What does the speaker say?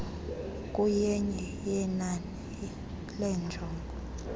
kuyenye yenani leenjongo